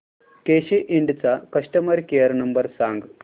केसी इंड चा customer care number सांग